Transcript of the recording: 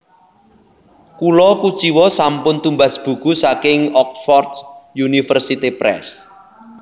Kula kuciwa sampun tumbas buku saking Oxford University Press